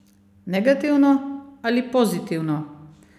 Negativno ali pozitivno?